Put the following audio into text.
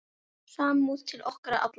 Samúð til okkar allra.